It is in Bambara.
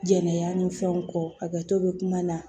Jɛnɛya ni fɛnw kɔ a ka to bɛ kuma na